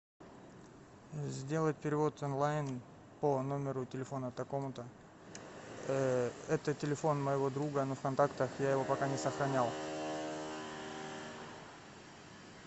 сделать перевод онлайн по номеру телефона такому то это телефон моего друга но в контактах я его пока не сохранял